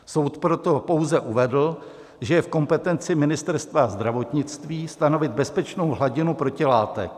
Soud proto pouze uvedl, že je v kompetenci Ministerstva zdravotnictví stanovit bezpečnou hladinu protilátek.